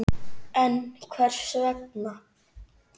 En Hvers vegna?